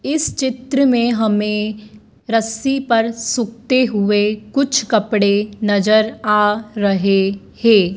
इस चित्र में हमें रस्सी पर सूखते हुए कुछ कपड़े नजर आ रहे हैं।